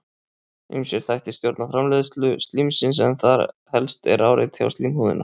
Ýmsir þættir stjórna framleiðslu slímsins en þar helst er áreiti á slímhúðina.